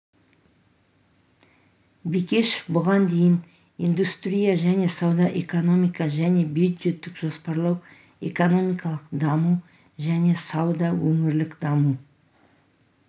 бекешев бұған дейін индустрия және сауда экономика және бюджеттік жоспарлау экономимкалық даму және сауда өңірлік даму